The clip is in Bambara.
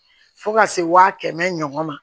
Fo ka se wa kɛmɛ ɲɔgɔn ma